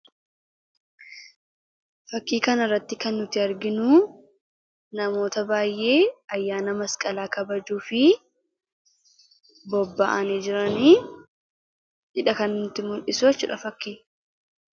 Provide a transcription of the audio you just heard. Fakkii kana irratti kan arginu namoota baay'ee ayyaana masqalaa kabajuuf bobba'anii jiranidha kan nutti mul'isu jechuudha fakkiin kun.